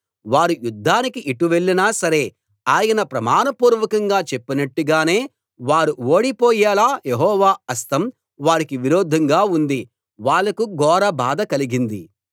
వారు యుద్ధానికి ఎటు వెళ్ళినా సరే ఆయన ప్రమాణపూర్వకంగా చెప్పినట్టుగానే వారు ఓడిపోయేలా యెహోవా హస్తం వారికీ విరోధంగా ఉంది వాళ్లకు ఘోర బాధ కలిగింది